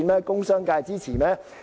工商界支持？